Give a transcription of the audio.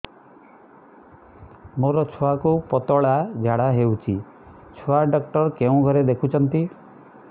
ମୋର ଛୁଆକୁ ପତଳା ଝାଡ଼ା ହେଉଛି ଛୁଆ ଡକ୍ଟର କେଉଁ ଘରେ ଦେଖୁଛନ୍ତି